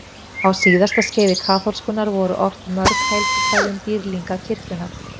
Á síðasta skeiði kaþólskunnar voru ort mörg helgikvæði um dýrlinga kirkjunnar.